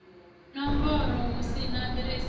nomboro hu si ḓiresi ya